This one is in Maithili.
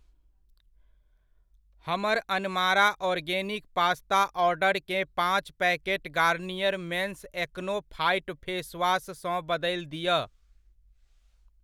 हमर अनमारा ऑर्गेनिक पास्ता ऑर्डरकेँ पाँच packet Garnier men's acno fight face wash सँ बदलि दिअ।